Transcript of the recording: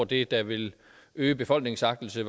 det der ville øge befolkningens agtelse